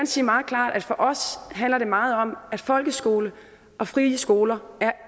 sige meget klart at for os handler det meget om at folkeskoler og frie skoler